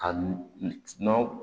A nɔnɔ